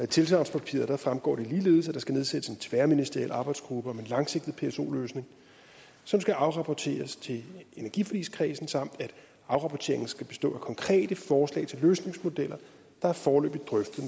tilsagnspapiret fremgår det ligeledes at der skal nedsættes en tværministeriel arbejdsgruppe om en langsigtet pso løsning som skal afrapporteres til energiforligskredsen samt at afrapporteringen skal bestå af konkrete forslag til løsningsmodeller der er foreløbigt drøftet